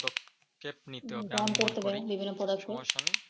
Step নিতে হবে আমি মনে করি